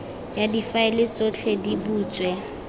ya difaele tsotlhe di butswe